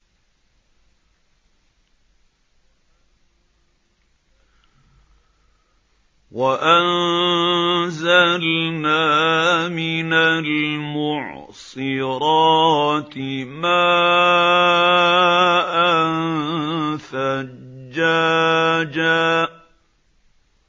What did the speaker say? وَأَنزَلْنَا مِنَ الْمُعْصِرَاتِ مَاءً ثَجَّاجًا